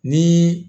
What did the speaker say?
Ni